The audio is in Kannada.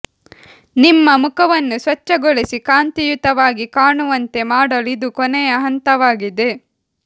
ನಿಮ್ಮ ಮುಖವನ್ನು ಸ್ವಚ್ಛಗೊಳಿಸಿ ಕಾಂತಿಯುತವಾಗಿ ಕಾಣುವಂತೆ ಮಾಡಲು ಇದು ಕೊನೆಯ ಹಂತವಾಗಿದೆ